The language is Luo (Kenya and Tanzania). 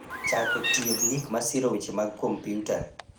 chako tiyo gi gik masiro weche mag kompyuta